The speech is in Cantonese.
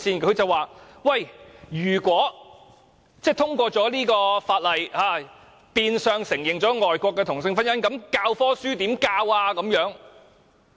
他說如果通過《條例草案》，變相承認外國的同性婚姻，教科書的內容怎麼辦？